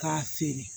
K'a feere